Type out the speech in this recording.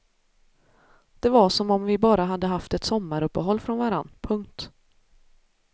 Det var som om vi bara hade haft ett sommaruppehåll från varann. punkt